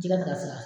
Jɛgɛ ngafana